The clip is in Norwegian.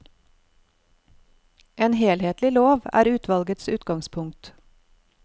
En helhetlig lov er utvalgets utgangspunkt.